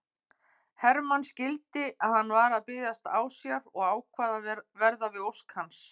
Hermann skildi að hann var að biðjast ásjár og ákvað að verða við ósk hans.